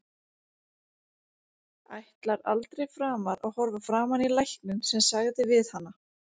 Ætlar aldrei framar að horfa framan í lækninn sem sagði við hana.